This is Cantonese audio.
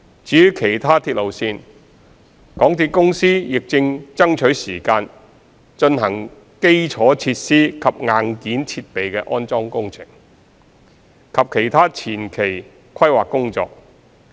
至於其他鐵路線，港鐵公司亦正爭取時間進行基礎設施及硬件設備的安裝工程，以及其他前期規劃工作。